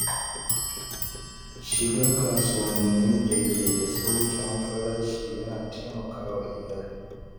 Shiga kasuwannin da ke da sauƙin farashi yana taimaka wa iyali.